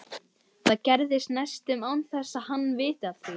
Það gerist næstum án þess að hann viti af því.